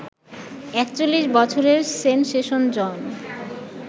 ৪১ বছরের সেনসেশন জন